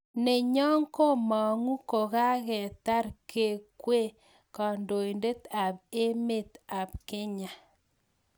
Ne nyo komangu ko kaketar kekwee kandoindet ap emet ing Kenya.